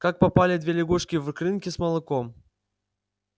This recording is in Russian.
как попали две лягушки в крынки с молоком